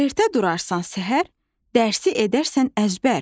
Ertə durarsan səhər, dərsi edərsən əzbər.